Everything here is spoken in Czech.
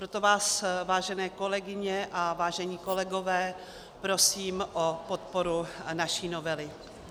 Proto vás, vážené kolegyně a vážení kolegové, prosím o podporu naší novely.